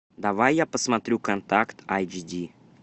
давай я посмотрю контакт айч ди